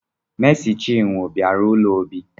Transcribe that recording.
Mesi chinwo bịara ụlọ Obi